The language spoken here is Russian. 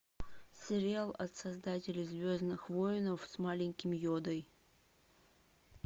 сериал от создателей звездных войн с маленьким йодой